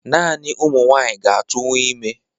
Naani ụmụ nwanyị ga-atụnwu ime